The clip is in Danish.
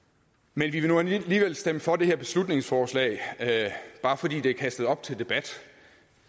men vi vil nu alligevel stemme for det her beslutningsforslag bare fordi det er kastet op til debat